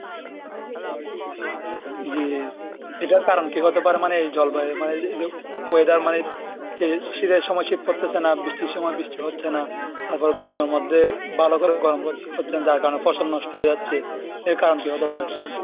জি এটার কারণ কি হতে পারে মানে এই জলবায়ু মানে এই যে weather মানে যে শীতের সময় শীত পড়তেছে না, বৃষ্টির সময় বৃষ্টি হচ্ছে না তারপরে গরমের মধ্যে ভালো করে গরম হচ্ছে না যার কারণে ফসল নষ্ট হয়ে যাচ্ছে, এর কারণ কি হতে পারে?